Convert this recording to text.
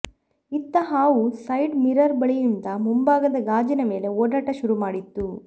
ಇತ್ತ ಹಾವು side mirror ಬಳಿಯಿಂದ ಮುಂಭಾಗದ ಗಾಜಿನ ಮೇಲೆ ಓಡಾಟ ಶುರುಮಾಡಿತು